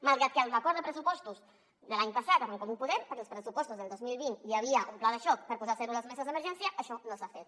malgrat que en l’acord de pressupostos de l’any passat amb en comú podem que als pressupostos del dos mil vint hi havia un pla de xoc per posar a zero les meses d’emergència això no s’ha fet